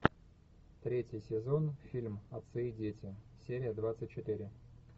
третий сезон фильм отцы и дети серия двадцать четыре